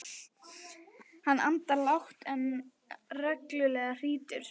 Hann andar lágt en reglulega og hrýtur.